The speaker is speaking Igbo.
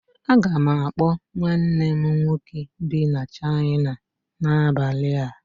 Aga m akpọ nwanne m nwoke bi na China n'abalị a